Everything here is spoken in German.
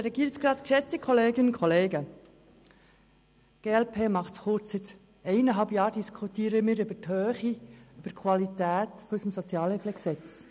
Seit eineinhalb Jahren diskutieren wir über die Höhe und die Qualität unseres SHG.